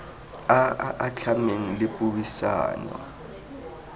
a a atlhameng le puisano